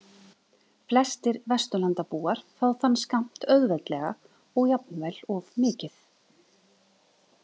Flestir Vesturlandabúar fá þann skammt auðveldlega og jafnvel of mikið.